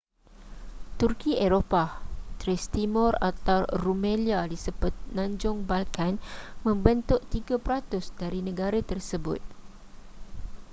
turki eropah thrace timur atau rumelia di semenanjung balkan membentuk 3% dari negara tersebut